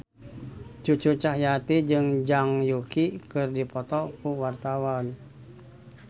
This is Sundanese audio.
Cucu Cahyati jeung Zhang Yuqi keur dipoto ku wartawan